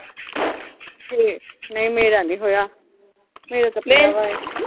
ਹਮ ਨਈਂ ਮੇਰਾ ਨੀਂ ਹੋਇਆ, ਮੇਰਾ ਤਾਂ ਪਿਆ ਗਿਆ ਹਜੇ।